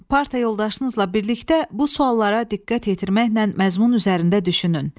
Partiya yoldaşınızla birlikdə bu suallara diqqət yetirməklə məzmun üzərində düşünün.